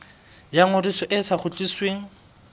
ya ngodiso e sa kgutlisweng